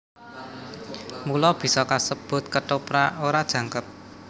Mula bisa kasebut Kethoprak ora jangkep